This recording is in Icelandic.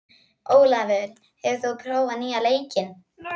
Ólafur, hefur þú prófað nýja leikinn?